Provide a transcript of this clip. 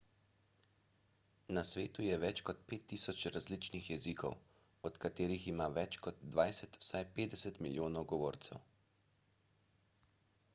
na svetu je več kot 5000 različnih jezikov od katerih ima več kot dvajset vsaj 50 milijonov govorcev